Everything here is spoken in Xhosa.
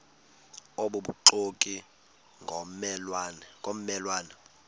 obubuxoki ngomme lwane